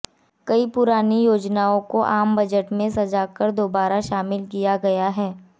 कई पुरानी योजनाओं को आम बजट में सजाकर दोबारा शामिल किया गया है